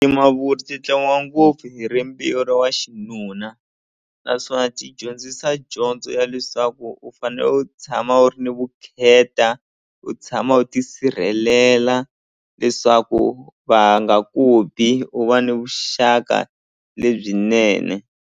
Timavuri ti tlangiwa ngopfu hi rimbewu ra wa xinuna naswona ti dyondzisa dyondzo ya leswaku u fane u tshama u ri ni vukheta u tshama u ti sirhelela leswaku va nga ku bi u va ni vuxaka lebyinene.